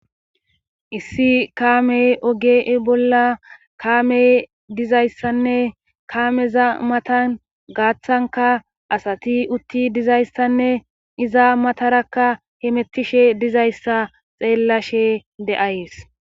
Issi kaamey oge bolla kaamey dizayssanne kaameza matan gaaththanka asati utti dizayssanne iza matarakka hemettishe dizayssa xeellashe de'ays.